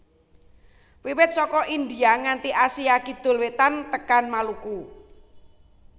Wiwit saka India nganti Asia Kidul Wétan tekan Maluku